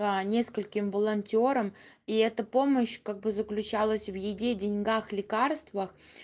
нескольким волонтёрам и это помощь как бы заключалась в еде деньгах лекарствах